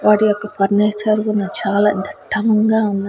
వాటి యొక్క ఫర్నిచర్ కూడా చాలా దిట్టంగా ఉన్నాయి.